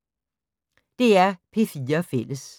DR P4 Fælles